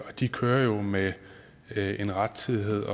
og de kører jo med en rettidighed